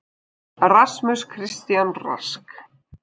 RASMUS CHRISTIAN RASK